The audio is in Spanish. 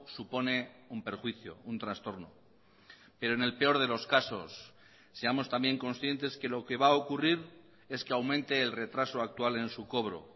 supone un perjuicio un trastorno pero en el peor de los casos seamos también conscientes que lo que va a ocurrir es que aumente el retraso actual en su cobro